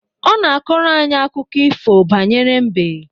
Ọ na akọrọ anyị akụkọ ifo banyere mbe